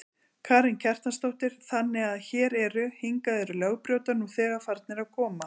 Karen Kjartansdóttir: Þannig að hér eru, hingað eru lögbrjótar nú þegar farnir að koma?